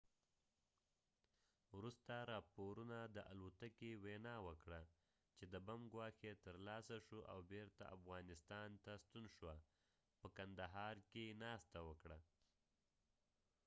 وروسته راپورونو د الوتکې وینا وکړه چې د بم ګواښ یې ترلاسه شو او بیرته افغاسنتان ته ستون شوه په کندهاره کې ناسته وکړه